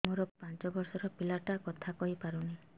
ମୋର ପାଞ୍ଚ ଵର୍ଷ ର ପିଲା ଟା କଥା କହି ପାରୁନି